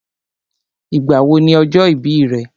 Ìgbà wo ni ọjọ́ ìbí rẹ̀?